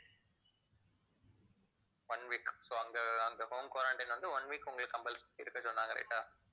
one week so அங்க அங்க home quarantine வந்து one week உங்களுக்கு compuls~ இருக்க சொன்னாங்க right ஆ